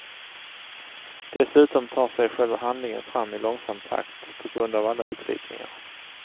Dessutom tar sig själva handlingen fram i långsam takt, på grund av alla utvikningar.